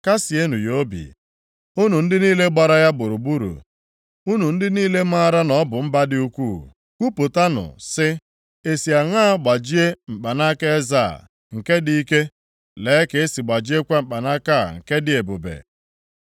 Kasịenụ + 48:17 Maọbụ, ruo ụjụ maka ya ya obi, unu ndị niile gbara ya gburugburu, unu ndị niile maara na ọ bụ mba dị ukwuu. Kwupụtanụ sị, ‘Esi aṅa gbajie mkpanaka eze a, nke dị ike, lee ka e si gbajiekwa mkpanaka a nke dị ebube!’